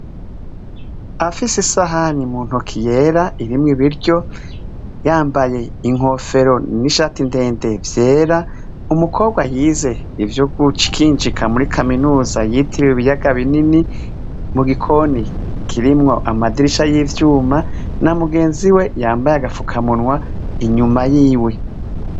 Afise ishani mu ntoke yera irimwo ibiryo, yambaye inkofero n'ishati ndende vyera, umukobwa yize ivyo gukinjika muri kaminuza yitiriwe ibiyaga binini, mu gikoni kirimwo amadirisha y'ivyuma, mugenzi we yambaye agafukamunwa inyuma yiwe.